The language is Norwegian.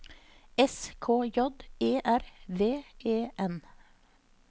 S K J E R V E N